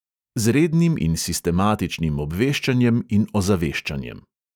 Z rednim in sistematičnim obveščanjem in ozaveščanjem.